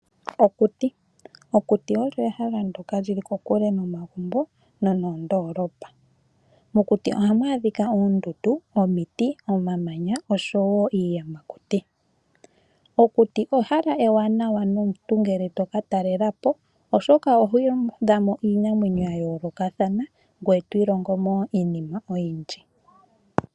Okuti olyo ehala ndyoka lili kokule nomagumbo noondoolopa. Mokuti ohamu adhika oondundu, omiti, omamanya nosho wo iiyamakuti. Okuti ehala ewanawa nomuntu ngele toka talelapo, oshoka oho adhamo iinamwenyo ya yoolokathana, ngwe to ilongomo wo iinima oyindji.